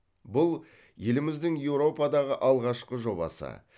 бұл еліміздің еуропадағы алғашқы жобасы